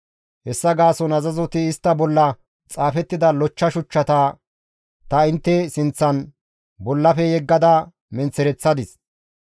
Hessa gaason azazoti istta bolla xaafettida lochcha shuchchata ta intte sinththan bollafe yeggada menththereththadis.